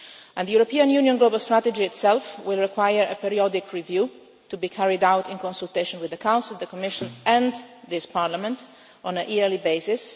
The European Union global strategy itself will require a periodic review, to be carried out in consultation with the Council, the Commission and this Parliament on a yearly